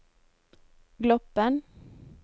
Gloppen